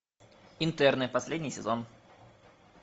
интерны последний сезон